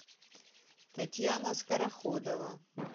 татьяна скороходова